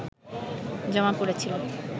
জমা পড়েছিল